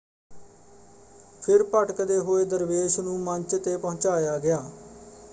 ਫਿਰ ਭਟਕਦੇ ਹੋਏ ਦਰਵੇਸ਼ ਨੂੰ ਮੰਚ ‘ਤੇ ਪਹੁੰਚਾਇਆ ਗਿਆ।